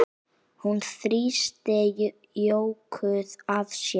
Hún þrýsti Jóku að sér.